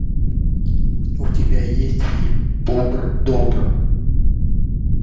у тебя есть фильм бобр добр